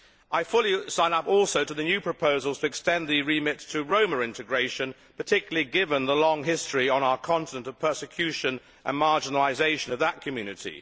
I also fully sign up to the new proposals to extend the remit to Roma integration, particularly given the long history on our continent of persecution and marginalisation of that community.